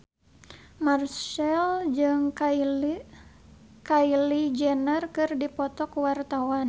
Marchell jeung Kylie Jenner keur dipoto ku wartawan